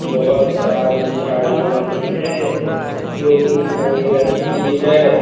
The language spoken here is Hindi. बहुत सारी झाड़ियां भी है जो की हरे रंग की है।